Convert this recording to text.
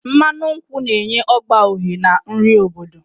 Mmanụ nkwụ na-enye agba uhie na nri obodo